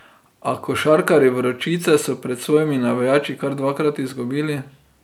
A košarkarji Vročice so pred svojimi navijači kar dvakrat izgubili.